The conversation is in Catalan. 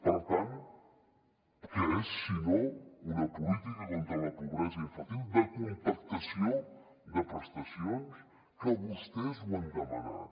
per tant què és si no una política contra la pobresa infantil de compactació de prestacions que vostès ho han demanat